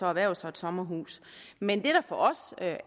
erhverve sig et sommerhus men det der for os at